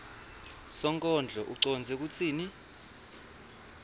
sonkondlo ucondze kutsini